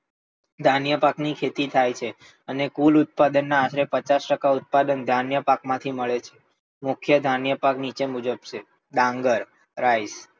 ધાન્ય પાક ની ખેતી થાય છે. અને કુલ ઉત્પાદન ના આશરે પચાસ ટકા ઉત્પાદન ધાન્ય પાક માંથી મળે છે. મુખ્ય ધાન્ય પાક નીચે મુજબ છે. ડાંગર, રાઈ,